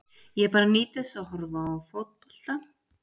Ég bara nýt þess að horfa á fótbolta.